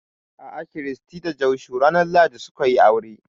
A'a, Christy da Joshua ranar lahadi su ka yi aure